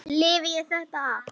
Lifi ég þetta af?